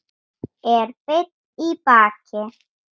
Er beinn í baki.